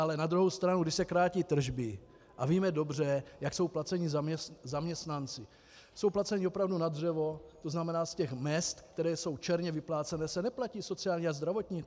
Ale na druhou stranu když se krátí tržby, a víme dobře, jak jsou placeni zaměstnanci, jsou placeni opravdu na dřevo, to znamená z těch mezd, které jsou černě vyplácené, se neplatí sociální a zdravotní.